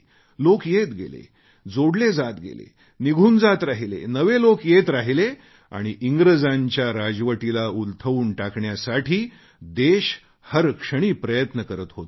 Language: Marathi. लोक येत गेले जोडले जात गेले निघून जात राहिले नवे लोक येत गेले आणि इंग्रजांच्या राजवटीला उलथवून टाकण्यासाठी देश हरक्षणी प्रयत्न करत होता